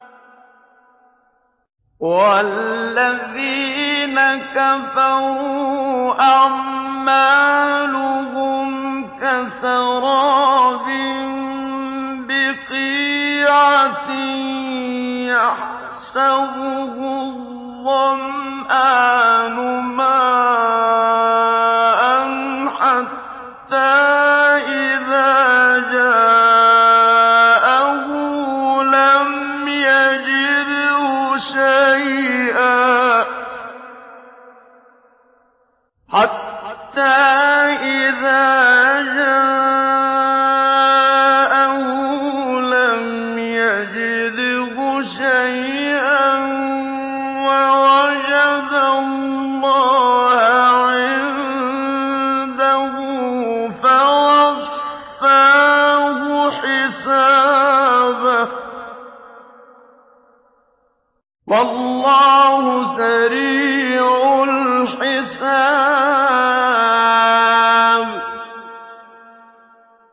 وَالَّذِينَ كَفَرُوا أَعْمَالُهُمْ كَسَرَابٍ بِقِيعَةٍ يَحْسَبُهُ الظَّمْآنُ مَاءً حَتَّىٰ إِذَا جَاءَهُ لَمْ يَجِدْهُ شَيْئًا وَوَجَدَ اللَّهَ عِندَهُ فَوَفَّاهُ حِسَابَهُ ۗ وَاللَّهُ سَرِيعُ الْحِسَابِ